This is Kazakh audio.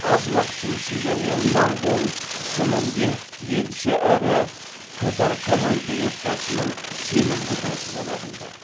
аз уақыттың ішінде ол моңғол сім інде елші әрі катар корольдік отбасының сенімді досы бола білді